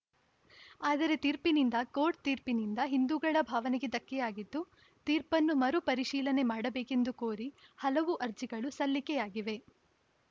ಆದರೆ ತೀರ್ಪಿನಿಂದ ಕೋರ್ಟ್‌ ತೀರ್ಪಿನಿಂದ ಹಿಂದೂಗಳ ಭಾವನೆಗೆ ಧಕ್ಕೆಯಾಗಿದ್ದು ತೀರ್ಪನ್ನು ಮರುಪರಿಶೀಲನೆ ಮಾಡಬೇಕೆಂದು ಕೋರಿ ಹಲವು ಅರ್ಜಿಗಳು ಸಲ್ಲಿಕೆಯಾಗಿವೆ